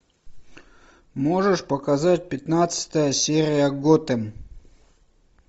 можешь показать пятнадцатая серия готэм